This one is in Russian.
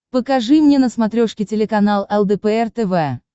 покажи мне на смотрешке телеканал лдпр тв